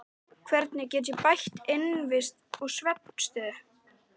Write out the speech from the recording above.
Hvernig get ég bætt innivist og svefnaðstöðu?